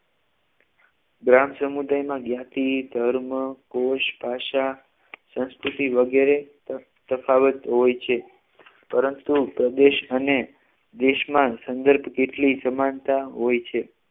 ગ્રામ સમુદાયમાં જ્ઞાતિ ધર્મ કોષ ભાષા સંસ્કૃતિ વગેરે તફાવત હોય છે પરંતુ પ્રદેશ અને દેશમાં સંદર્ભ જેટલી સમાનતા હોય છે